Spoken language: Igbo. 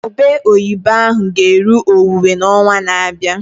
Ube oyibo ahụ ga eru owuwe na onwa na abịa